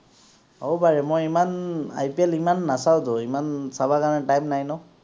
হব পায় মই ইমান IPL ইমান নাচাওতো ইমান চাবৰ কাৰণে time নাই ন